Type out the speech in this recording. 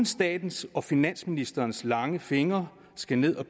statens og finansministerens lange fingre skal ned